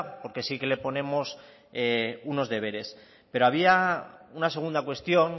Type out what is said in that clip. porque sí que le ponemos unos deberes pero había una segunda cuestión